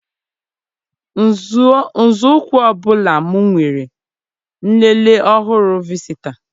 Nzọụkwụ ọ bụla m weere nlele ọhụrụ visita.